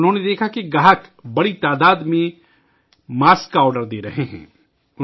انہوں نے دیکھا کہ گاہک، بڑی تعداد میں، ماسک کا آرڈر دے رہے تھے